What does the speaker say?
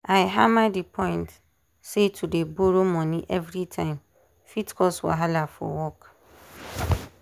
i hammer di point say to dey borrow money everytime fit cause wahala for work.